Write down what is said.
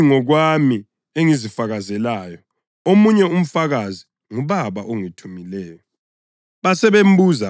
Yimi ngokwami engizifakazelayo; omunye umfakazi nguBaba ongithumileyo.”